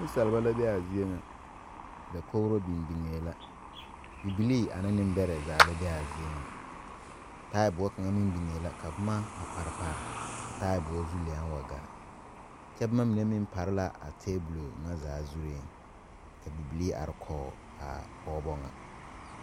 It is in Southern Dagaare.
Ninsaaliba la be a zeɛ nga dakouri beng bengɛɛ la bibilii ane nimbere zaa la be a zeɛ nga taaboɔ kanga meng bengɛɛ la ka buma a pare pare a taaboɔ zu leng wa gaa kye buma mene meng pari la a tabol nga zaa zuree ka bibilii arẽ koɔ a pɔgba nga.